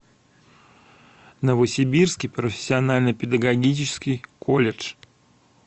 новосибирский профессионально педагогический колледж